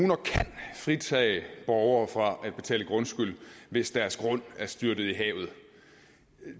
kan fritage borgere fra at betale grundskyld hvis deres grund er styrtet i havet